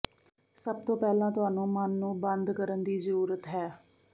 ਸਭ ਤੋਂ ਪਹਿਲਾਂ ਤੁਹਾਨੂੰ ਮਨ ਨੂੰ ਬੰਦ ਕਰਨ ਦੀ ਜ਼ਰੂਰਤ ਹੈ